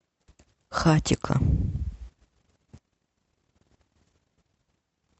хатико